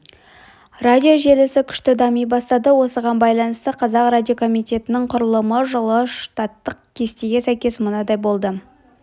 радио желісі күшті дами бастады осыған байланысты қазақ радиокомитетінің құрылымы жылы штаттық кестеге сәйкес мынадай болды